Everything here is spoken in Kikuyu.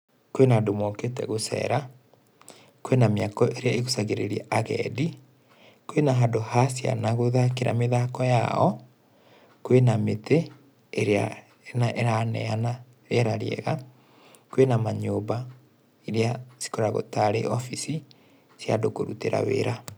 Kwĩna andũ mokĩte gũcera, kwĩna mĩako ĩrĩa ĩgucagĩrĩria agendi, kwĩna handũ ha ciana gũthakĩra mĩthako yao, kwĩna mĩtĩ, ĩrĩa ĩraneana rĩera rĩega, kwĩna manyũmba irĩa cikoragwo tarĩ obici cia andũ kũrutĩra wĩra.